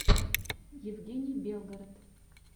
евгений белгород